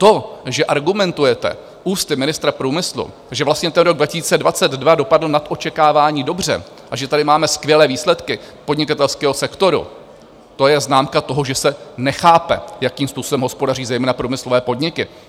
To, že argumentujete ústy ministra průmyslu, že vlastně ten rok 2022 dopadl nad očekávání dobře a že tady máme skvělé výsledky podnikatelského sektoru, to je známka toho, že se nechápe, jakým způsobem hospodaří zejména průmyslové podniky.